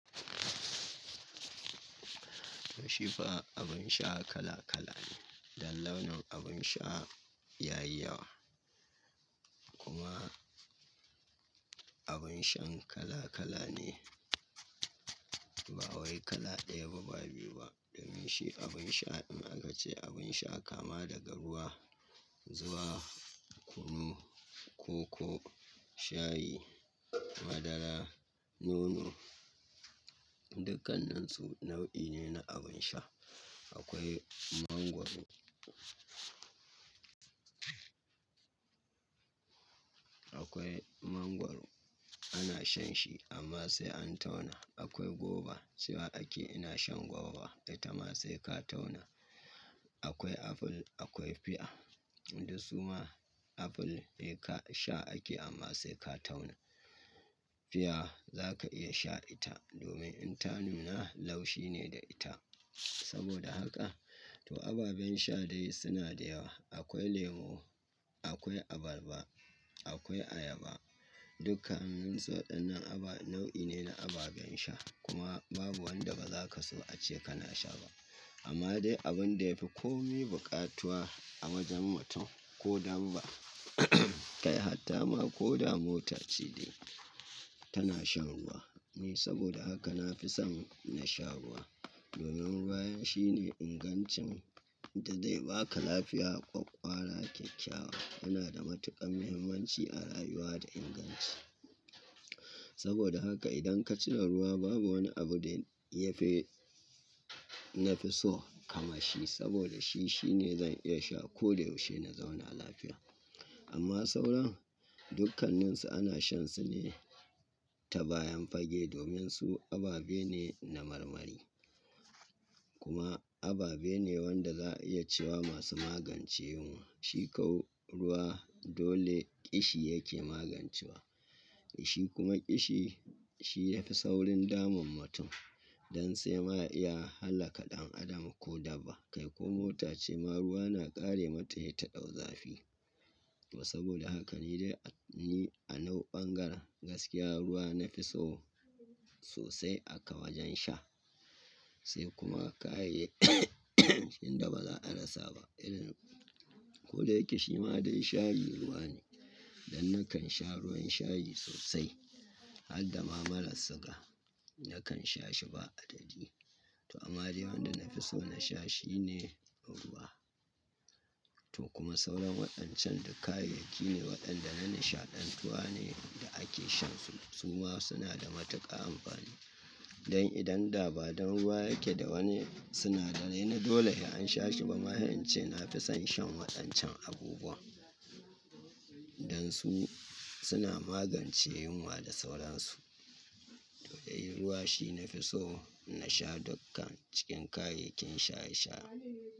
To, shi fa abin sha kala kala ne, dan launin abin sha ya yi yawa. Kuma abin shan kala kala ne, ba wai kala ɗaya ba, ba biyu ba. Domin shi abin sha, in aka ce abin sha, kama daga ruwa zuwa kunu, koko, shayi, madara, nono. Dukannansu nau'i ne na abin sha. Akwai mangwaro. Akwai mangwaro, ana shan shi amma sai an tauna. Akwai goba, cewa akeyi ina shan goba, ita ma sai ka tauna. Akwai aful, akwai fiya. Duk su ma aful bai ka sha ake amma sai ka tauna. Fiya zaka iya sha ita, domin in ta nuna laushi ne da ita. Saboda haka to ababen sha dai suna da yawa. Akwai lemo, akwai abarba, akwai ayaba. Dukannin su waɗannan aba nau'i ne na ababen sha. Kuma babu wanda ba za ka so a ce kana sha ba. Amma dai abin da yafi kome buƙatuwa a wajen mutum ko dabba kai hatta ma ko da mota ce dai, tana shan ruwa ne. Saboda haka na fi son na sha ruwa. Domin ruwa ya shi ne ingancin da zai ba ka lafiya kwakwara kyakkyawa. Yana da matuƙar muhimmanci a rayuwa da inganci. Saboda haka idan ka cire ruwa, babu wani abu da ya fi, na fi so kaman shi. Saboda shi, shi ne zan iya sha ko da yaushe na zauna lafiya. Amma sauran dukanninsu ana shan su ne ta bayan fage. Domin su ababe ne na marmari. Kuma ababe ne wanda za a iya cewa masu magance yunwa. Shikau ruwa dole ƙishi yake magancewa. Shi kuma ƙishi shi ya fi saurin damun mutum. Dan sai ma iya hallaka ɗan adam ko dabba. Kai ko mota ce ma ruwa na ƙare mata sai ta ɗau zafi. To saboda haka ni dai ni a nauɓangara gaskiya ruwa nafi so sosai aka wajen sha. Sai kuma kayayyakin da ba za a rasa ba irin. Ko da yake shi ma dai shayi ruwa ne. Dan nakan sha ruwan shayi sosai. Hadda ma maras siga, nakan sha shi ba adadi. To amma dai wanda nafi so na sha shi ne ruwa. To kuma sauran waɗancan duk kayayyaki ne waɗanda na nishaɗantuwa ne da ake shan su. Su ma suna da matuƙa amfani. Dan idan daban ruwa yake da wani sinadarai na dole ya an sha shi ba ma, yance nafi son shan waɗancan abubuwa. Dan su suna magance yunwa da sauransu. To dai ruwa shi nafi so na sha dukkan cikin kayayyakin shaye-shaye.